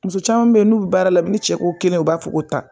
Muso caman bɛ yen n'u bɛ baara la bi ni cɛ ko kelen u b'a fɔ ko tan